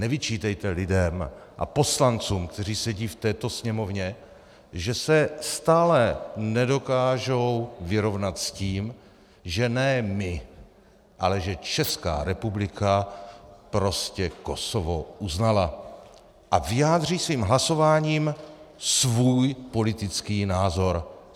Nevyčítejte lidem a poslancům, kteří sedí v této Sněmovně, že se stále nedokážou vyrovnat s tím, že ne my, ale že Česká republika prostě Kosovo uznala, a vyjádří svým hlasováním svůj politický názor.